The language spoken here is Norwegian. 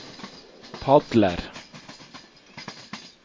padler